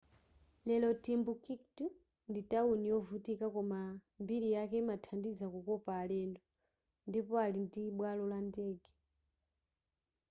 lero timbuktu ndi tawuni yovutika koma mbiri yake imathandiza kukopa alendo ndipo ali ndibwalo la ndege